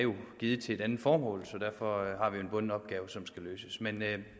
givet til et andet formål så derfor har vi en bunden opgave som skal løses men